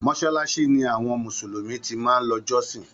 Mosalasi ni àwọn mùsùlùmí ti máa ń lọ jọsin.